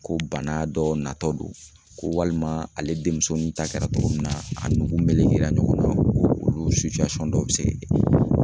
Ko bana dɔ natɔ don ko, walima ale denmuso nin ta kɛra cogo min na , a nugu mɛlen ɲɔgɔnna olu dɔw bɛ se